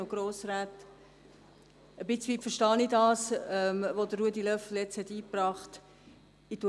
Ich verstehe teilweise, was Ruedi Löffler hier vorgebracht hat.